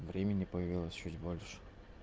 времени появилось чуть больше